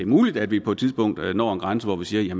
muligt at vi på et tidspunkt når en grænse hvor vi siger